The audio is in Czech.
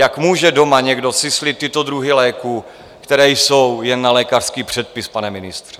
Jak může doma někdo syslit tyto druhy léků, které jsou jen na lékařský předpis, pane ministře?